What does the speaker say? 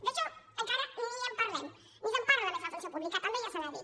d’això encara ni en parlem ni se’n parla a més a la funció pública també ja s’ha dit